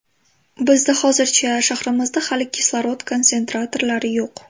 Bizda hozircha shahrimizda hali kislorod konsentratorlari yo‘q.